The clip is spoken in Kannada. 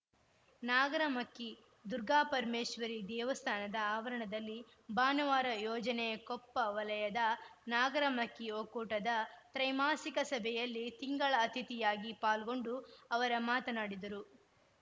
ನಾಗರಮಕ್ಕಿ ದುರ್ಗಾಪರಮೇಶ್ವರಿ ದೇವಸ್ಥಾನದ ಆವರಣದಲ್ಲಿ ಭಾನುವಾರ ಯೋಜನೆಯ ಕೊಪ್ಪ ವಲಯದ ನಾಗರಮಕ್ಕಿ ಒಕ್ಕೂಟದ ತ್ರೈಮಾಸಿಕ ಸಭೆಯಲ್ಲಿ ತಿಂಗಳ ಅತಿಥಿಯಾಗಿ ಪಾಲ್ಗೊಂಡು ಅವರ ಮಾತನಾಡಿದರು